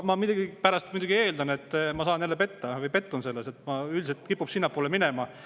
Ma millegipärast muidugi eeldan, et ma saan jälle petta või pettun selles, sest üldiselt kipub niimoodi minema.